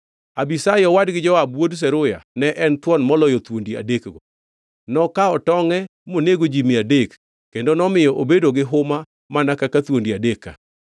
Abishai owadgi Joab wuod Zeruya ne en thuon moloyo thuondi adekgo. Nokawo tongʼe monego ji mia adek, kendo nomiyo obedo gi huma mana kaka thuondi adek ka.